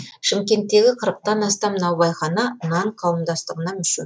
шымкенттегі қырықтан астам наубайхана нан қауымдастығына мүше